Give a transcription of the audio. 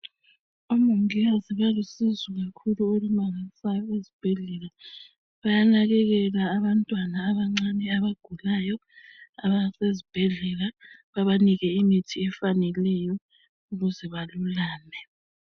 Omongikazi balusizo kakhulu olumangalisayo ezibhedlela, bayanakekela abantwana abancane abagulayo abasezibhedlela babanike imithi efaneleyo ukuze balulame.